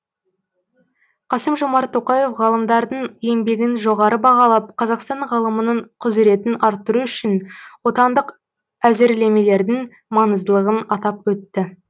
қасым жомарт тоқаев ғалымдардың еңбегін жоғары бағалап қазақстан ғылымының құзыретін арттыру үшін отандық әзірлемелердің маңыздылығын атап өтті